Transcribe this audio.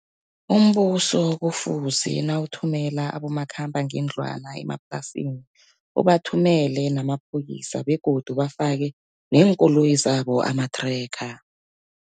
Umbuso kufuze nawuthumela abomakhambangendlwana emaplasini, ubathumelele namaphoyisa begodu bafake neenkoloyi zabo ama-tracker.